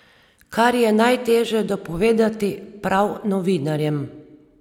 Kar je najteže dopovedati prav novinarjem.